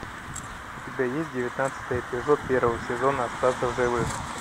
у тебя есть девятнадцатый эпизод первого сезона остаться в живых